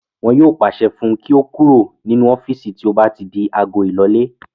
Wọn yóò pàṣẹ fún un kí ó kúrò nínú ọ́fìsì tí ó bá ti di agọ ílọlé